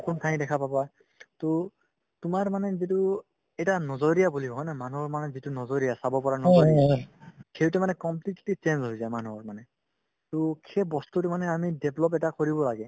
নতুন ঠাই দেখা পাবা to তোমাৰ মানে যিটো এটা najriya বুলি কওঁ হয়নে মানুহৰ মানে যিটো najriya চাব পৰা najriya সেইটো মানে completely change হৈ যায় মানুহৰ মানে to সেই বস্তুতো মানে আমি develop এটা কৰিব লাগে